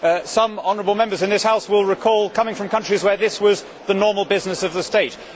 Some honourable Members in this House will recall coming from countries where this was the normal business of the state.